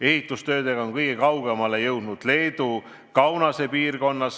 Ehitustöödega on kõige kaugemale jõudnud Leedu Kaunase piirkonnas.